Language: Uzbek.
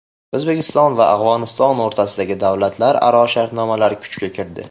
O‘zbekiston va Afg‘oniston o‘rtasidagi davlatlararo shartnomalar kuchga kirdi.